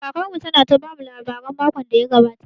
Kakar mu ta na ta bamu labarai makon da ya gabata